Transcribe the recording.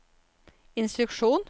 instruksjon